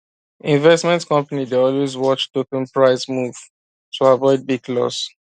investment company dey always watch token price move to avoid big loss